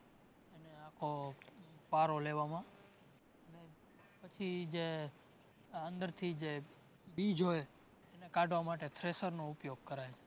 આખો પારો લેવામાં પછી જે, અંદરથી જે બીજ હોય એને કાઢવા માટે thresher નો ઉપયોગ કરાયઆ